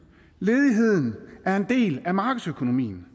ledigheden er en del af markedsøkonomien